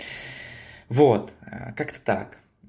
вот как-то так